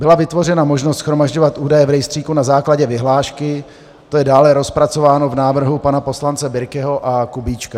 Byla vytvořena možnost shromažďovat údaje v rejstříku na základě vyhlášky, to je dále rozpracováno v návrhu pana poslance Birkeho a Kubíčka.